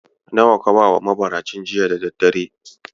Nawa ka bawa mabaracin jita da daddare?